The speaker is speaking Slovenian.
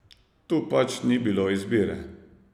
Tu pač ni bilo izbire.